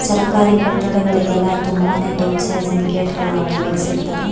ಸರಕಾರಿ ಕಟ್ಟಡಗಳಿಗೆಲ್ಲ ತುಂಬಾನೇ ದೊಡ್ಡ್ ಸೈಜ್ ನ ಗೇಟ್ಗ ಳು ಅಳವಡಿಸಿರ್ತಾರೆ.